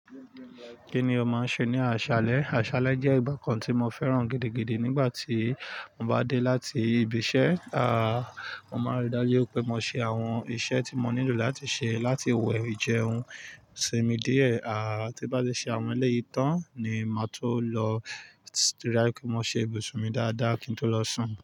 Kíni ó máa ń ṣe ní aṣálẹ́? Aṣálẹ́ jẹ́ ìgbà kan tí mo fẹ́ràn gidigidi nígbà tí mo bá dé láti ibi iṣẹ́, aa mo máa rí dájú pé mo ṣe àwọn iṣẹ́ tí mo nílò láti ṣe láti wẹ ìjẹun, sinmi díẹ̀. Àa ti bá ti ṣe àwọn eléyìí tán ni màá tó lọ rí pé mo ṣe ibùsùn mi dáadáa kí n tó lọ sùn.